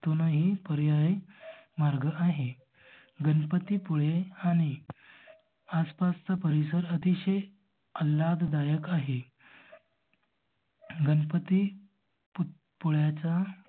दोन ही पर्याय मार्ग आहे. गणपती पुळे आणि आस पासचा परिसर अतिशय आल्हाददायक आहे. गणपती पुळयाचा